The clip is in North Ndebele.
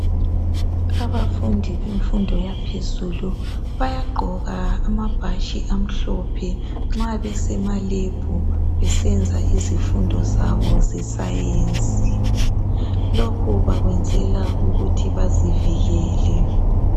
Abafundi bemfundo yaphezulu bayagqoka amabhatshi amhlophe nxa besema lab besenza izifundo zabo ze science lokhu bakwenzela ukuthi bazivikele.